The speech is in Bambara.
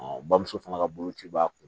bamuso fana ka boloci b'a kun